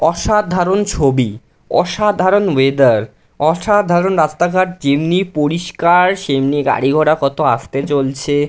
অসাধারণ ছবি অসাধারণ ওয়েদার অসাধারণ রাস্তাঘাট যেমনি পরিষ্কার- র সেমনি গাড়ি ঘোড়া কত আস্তে চলছে--